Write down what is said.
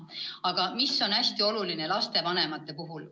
Aga mis on lastevanemate puhul hästi oluline?